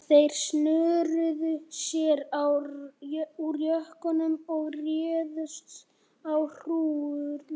Þeir snöruðu sér úr jökkunum og réðust á hrúgurnar.